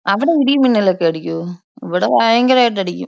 അവിടെ ഇടി മിന്നലൊക്കെ അടിക്കോ? ഇവിടെ ഭയങ്കരായിട്ട് അടിക്കും.